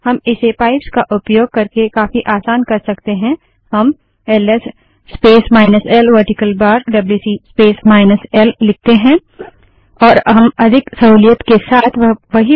हम इसे पाइप्स का उपयोग करके काफी आसान कर सकते हैं हम L S space minus L vertical bar WC space minus L LS space minus L vertical bar WC space minus L लिखते हैं